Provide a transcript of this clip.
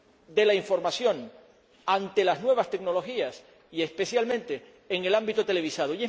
de la información ante las nuevas tecnologías y, especialmente, en el ámbito televisivo.